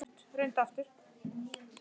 Þín Tanya.